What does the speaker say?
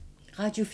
Radio 4